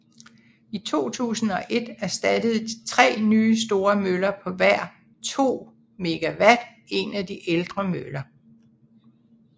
I 2001 erstattede tre nye store møller på hver 2 MW en de ældre møller